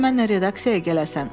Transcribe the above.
Bəlkə mənnən redaksiyaya gələsən,